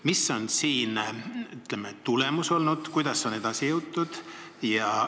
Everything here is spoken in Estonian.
Mis on siin, ütleme, tulemus olnud, kuidas on edasi jõutud?